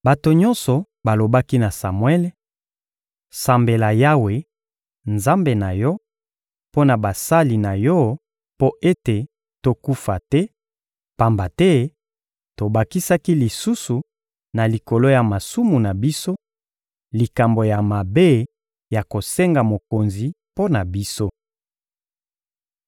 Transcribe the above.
Bato nyonso balobaki na Samuele: — Sambela Yawe, Nzambe na yo, mpo na basali na yo mpo ete tokufa te, pamba te tobakisaki lisusu na likolo ya masumu na biso, likambo ya mabe ya kosenga mokonzi mpo na biso.